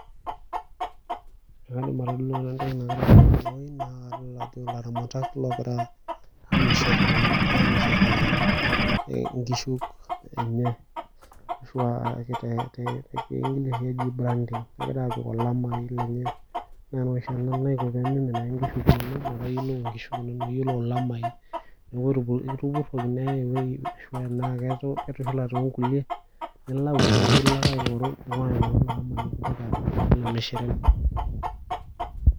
Kaidim atolimu enatoki nagira aasa tenewoi naa kadol ajo laramatak logira amishir inkishu enye, ashua ninye oshi eji branding, kegira apik olamai lenye, na ena noshi naiko pemimin ake nkishu metaa yiolou inkishu nonok, iyiolou ilamai. Neeku ore orkekun likitupurroki neyai ewoi ashu ena ketushulate onkulie nilau neku ilo ake aing'oru kulo amai lele mishire.